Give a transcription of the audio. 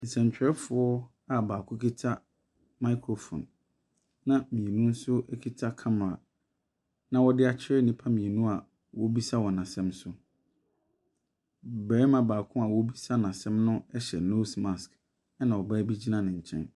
Nsɛntwerɛfoɔ a baako kita microphone na mmienu nso kita camera, na wɔde akyerɛ nnipa mmienu a wɔabisa wɔn asɛm so. Barima baako a wɔabisa no asɛm no hyɛ nose mask, ɛna ɔbaa bi gyina ne nkyɛn.